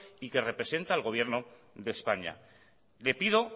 y que representa al gobierno de españa le pido